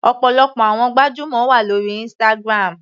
Ọ̀pọ̀lọpọ̀ àwọn gbajúmọ̀ wà lórí Instagram.